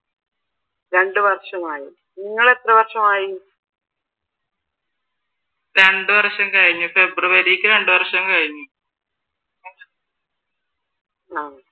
രണ്ട് വർഷം കഴിഞ്ഞു ഫെബ്രുവരിക്ക് രണ്ടുവർഷം കഴിഞ്ഞു ഫെബ്രുവരിക്ക് രണ്ട് വർഷം കഴിഞ്ഞ ആഹ്